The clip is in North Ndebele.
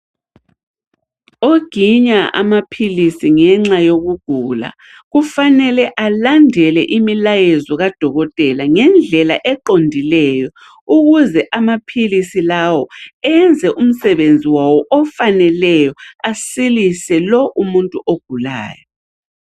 Oginya amaphilisi ngenxa yokugula kufanele alandele imilayezo kadokotela ngendlela eqondileyo ukuze amaphilisi lawo enze umsebenzi wawo ofaneleyo asilise lo umuntu ogulayo.